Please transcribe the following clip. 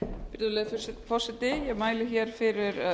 virðulegi forseti ég mæli hér fyrir